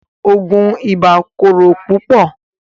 Oogun ìbà kòrò púpọ̀